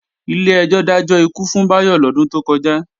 Ilé ẹjọ́ dájọ́ ikú fún Bayo lodun to koja